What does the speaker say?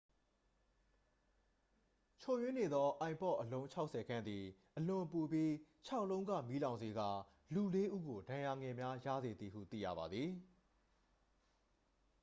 ချို့ယွင်းနေသော ipod အလုံး 60 ခန့်သည် အလွန်ပူပြီး ခြောက် လုံးက မီးလောင်စေကာ လူ လေး ဦးကို ဒဏ်ရာငယ်များ ရစေသည်ဟု သိရပါသည်